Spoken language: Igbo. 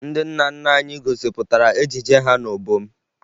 Ndị nna nna anyị gosipụtara ejije ha n'obom